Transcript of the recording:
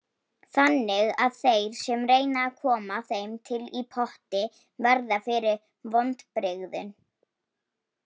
Þannig að þeir sem reyna að koma þeim til í potti verða fyrir vonbrigðum.